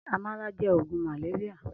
Amàlá jè ógún màlérià